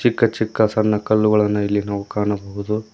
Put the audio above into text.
ಚಿಕ್ಕ ಚಿಕ್ಕ ಸಣ್ಣ ಕಲ್ಲುಗಳನ್ನು ಇಲ್ಲಿ ನಾವು ಕಾಣಬಹುದು.